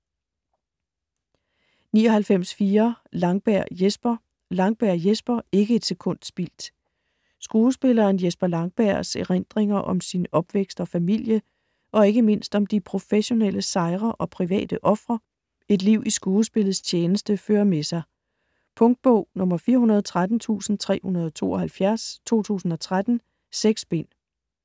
99.4 Langberg, Jesper Langberg, Jesper: Ikke et sekund spildt Skuespilleren Jesper Langbergs (f. 1940) erindringer om sin opvækst og familie, og ikke mindst om de professionelle sejre og private ofre et liv i skuespillets tjeneste fører med sig. Punktbog 413372 2013. 6 bind.